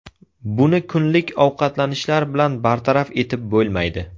Buni kunlik ovqatlanishlar bilan bartaraf etib bo‘lmaydi.